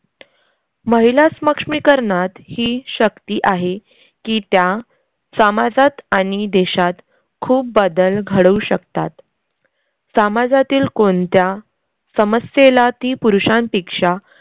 महिला स्मक्ष्मीकरनात ही शक्ती आहे की त्या सामाजात आनि देशात खूप बदल घडवू शकतात. सामाजातील कोनत्या समस्येला ती पुरुषांपेक्षा